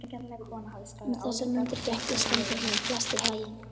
Um þessar mundir gekk Íslendingunum flest í haginn.